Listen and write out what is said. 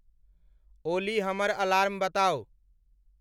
ओली हमर अलार्म बताउ।